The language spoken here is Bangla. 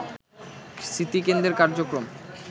স্মৃতিকেন্দ্রের কার্যক্রম